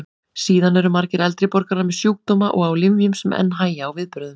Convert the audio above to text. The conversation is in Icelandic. Síðan eru margir eldri borgarar með sjúkdóma og á lyfjum sem enn hægja á viðbrögðum.